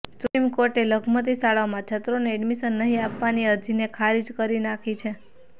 supreme કોર્ટએ લઘુમતિ શાળાઓમાં છાત્રોને એડમિશન નહી આપવાની અરજીને ખારીજ કરી નાખી છે